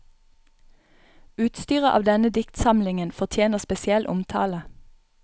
Utstyret av denne diktsamlingen fortjener spesiell omtale.